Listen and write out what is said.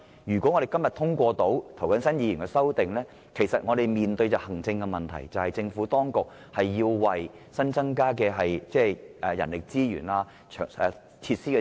如果今天能通過涂謹申議員的修正案，我們面對的行政問題是，政府當局要安排增加人力資源和設施。